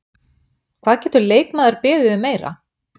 Hvað getur leikmaður beðið um meira?